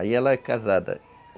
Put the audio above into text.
Aí ela é casada.